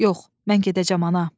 Yox, mən gedəcəm, ana!